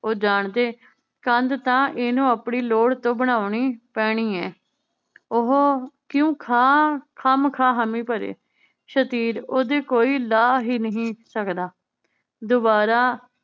ਉਹ ਜਾਣਦੇ ਕੰਧ ਤਾਂ ਇਹਨੂੰ ਆਪਣੀ ਲੋੜ ਤੋਂ ਬਣਾਉਣੀ ਪੈਣੀ ਏ ਉਹ ਕਿਊ ਖਾ ਖਾਮਖਾਹ ਹਾਮੀ ਭਰੇ ਸ਼ਤੀਰ ਓਹਦੀ ਕੋਈ ਲਾਹ ਹੀ ਨਹੀਂ ਸਕਦਾ ਦੋਬਾਰਾ